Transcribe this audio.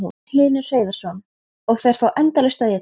Magnús Hlynur Hreiðarsson: Og þær fá endalaust að éta?